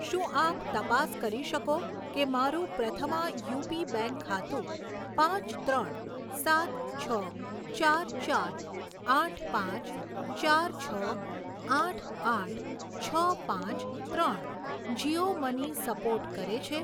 શું આપ તપાસ કરી શકો કે મારુ પ્રથમા યુપી બેંક ખાતું પાંચ ત્રણ સાત છ ચાર ચાર આઠ પાંચ ચાર છ આઠ આઠ છ પાંચ ત્રણ જીઓ મની સપોર્ટ કરે છે?